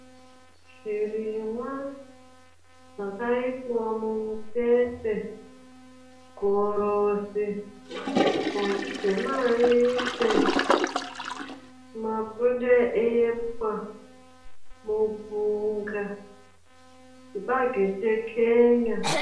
Zvirimwa zvakaiswa mumutstse; gorosi, mhonzi dzemavise, mapfunde epwa, mupunga, chibage chekenya.